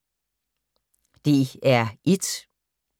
DR1